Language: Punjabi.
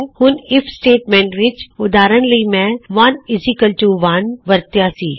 ਹੁਣ ਆਈਐਫ ਸਟੇਟਮੈਂਟ ਵਿੱਚ ਉਦਾਹਰਨ ਲਈ ਮੈਂ 11 ਨੂੰ ਵਰਤਿਆਂ ਸੀ